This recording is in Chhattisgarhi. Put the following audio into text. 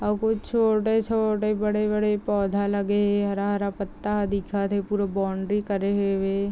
और छोटे- छोटे बड़े -बड़े पौधा लगे है हरा- हरा पत्ता ह दिखत हे पूरा बाउंड्री करे हुए हे ।